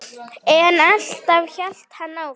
En alltaf hélt hann áfram.